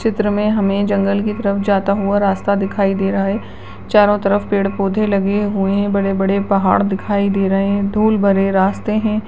इस चित्र में हमें जंगल की तरफ जाता हुआ रास्ता दिखाई दे रहा हैं चारों तरफ पेड़-पौधे लगे हुई हैं बड़े-बड़े पहाड़ दिखाई दे रहे हैं धूल भरे रास्ते हैं।